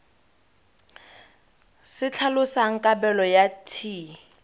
se tlhalosang kabelo ya t